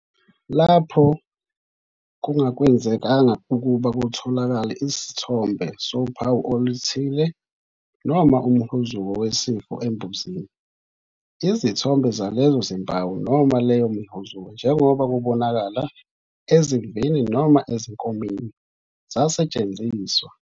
Lapho kungakwazekanga ukuba kutholakale isithombe sophawu oluthile noma umhuzuko wesifo embuzini, izithombe zalezo zimpawu noma leyo mihuzuko njengoba kubonakala ezimvini noma ezinkomeni, zasetshenziswa.